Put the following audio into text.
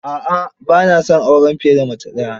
A'a, ba na son auren fiye da mace daya.